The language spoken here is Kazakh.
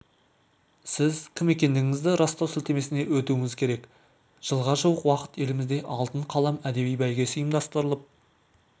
сіз кім екендігіңізді растау сілтемесіне өтуіңіз керек жылға жуық уақыт елімізде алтын қалам әдеби бәйгесі ұйымдастырылып